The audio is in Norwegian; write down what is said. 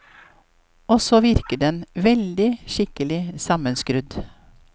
Og så virker den veldig skikkelig sammenskrudd.